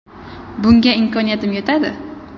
Bunga imkoniyatim yetadi.